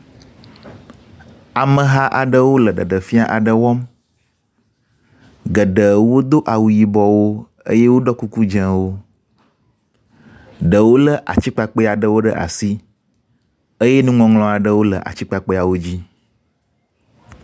Ameha aɖewo le ɖeɖefia aɖe wɔm geɖewo dó awu yibɔwo eye woɖo kuku dzewo ɖewo le atikpakpɛaɖewo ɖe asi eye nuŋɔŋlɔaɖewo le atikpakpɛawodzi